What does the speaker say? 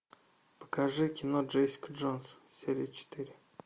покажи кино джессика джонс серия четыре